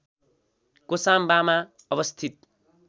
कोसाम्बामा अवस्थित